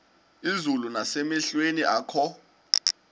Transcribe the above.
izulu nasemehlweni akho